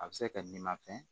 A bɛ se ka kɛ n'i ma fɛn